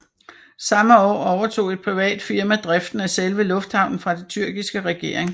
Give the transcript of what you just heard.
Samme år overtog et privat firma driften af selve lufthavnen fra den tyrkiske regering